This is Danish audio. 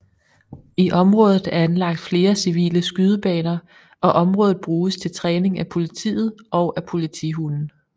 I området er anlagt flere civile skydebaner og området bruges til træning af politiet og af politihunde